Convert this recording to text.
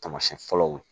Taamasiyɛn fɔlɔw